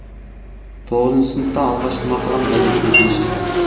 тоғызыншы сыныпта алғашкы мақалам газет бетіне шықты